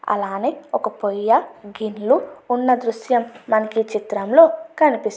అలాగే ఒక పొయ్య గిన్నులు ఉన్న దృశ్యం మనకి ఈ చిత్రం లో కనిపిస్తుంది.